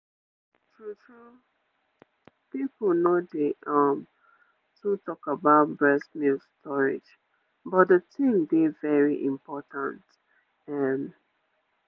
true-true peopleno dey um too talk about breast milk storage but the thing dey very important um